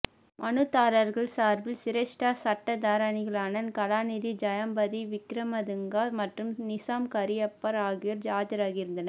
மனுதாரர்கள் சார்பில் சிரேஷ்ட சட்டத்தரணிகாளான கலாநிதி ஜயம்பதி விக்ரமதுங்க மற்றும் நிசாம் காரியப்பர் ஆகியோர் ஆஜராகியிருந்தனர்